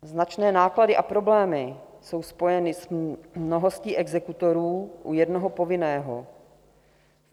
Značné náklady a problémy jsou spojeny s mnohostí exekutorů u jednoho povinného.